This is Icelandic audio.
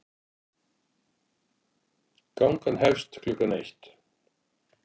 Gangan hefst klukkan eitt.